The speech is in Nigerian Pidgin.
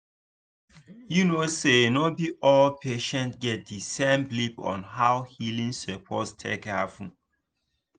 you know say no be all patients get the same belief on how healing suppose take happen